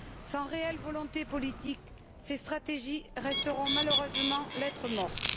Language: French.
Sans réelle volonté politique, ces stratégies resteront malheureusement lettre morte.